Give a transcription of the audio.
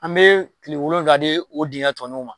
An be kile wolonwula di a tigi ma.